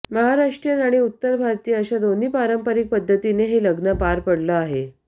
महाराष्ट्रीयन आणि उत्तर भारतीय अशा दोन्ही पारंपरिक पद्धतीने हे लग्न पार पडलं आहे